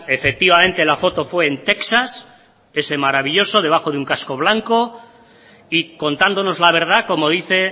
efectivamente la foto fue en texas ese maravilloso debajo de un casco blanco y contándonos la verdad como dice